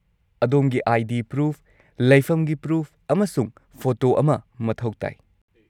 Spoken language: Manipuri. -ꯑꯗꯣꯝꯒꯤ ꯑꯥꯏ.ꯗꯤ. ꯄ꯭ꯔꯨꯐ, ꯂꯩꯐꯝꯒꯤ ꯄ꯭ꯔꯨꯐ, ꯑꯃꯁꯨꯡ ꯐꯣꯇꯣ ꯑꯃ ꯃꯊꯧ ꯇꯥꯏ꯫